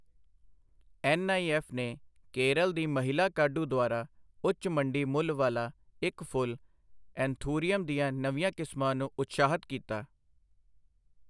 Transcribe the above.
NIF ਨੇ ਕੇਰਲ ਦੀ ਮਹਿਲਾ ਕਾਢੂ ਦੁਆਰਾ ਉੱਚ ਮੰਡੀ ਮੁੱਲ ਵਾਲਾ ਇੱਕ ਫੁੱਲ ਐਂਥੂਰੀਅਮ ਦੀਆਂ ਨਵੀਂਆਂ ਕਿਸਮਾਂ ਨੂੰ ਉਤਸ਼ਾਹਤ ਕੀਤਾ।